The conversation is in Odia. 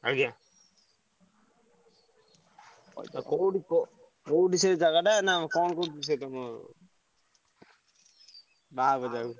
ଆଜ୍ଞା। ଆଉ କୋଉଠି ପ କୋଉଠି ସେ ଜାଗାଟା ନା କଣ କରୁଛି ସେ ତମ ବାହାହବ ଯାହାକୁ?